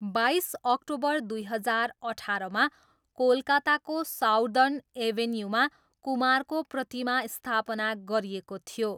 बाइस अक्टोबर दुई हजार अठाह्रमा कोलकाताको साउदर्न एभेन्यूमा कुमारको प्रतिमा स्थापना गरिएको थियो।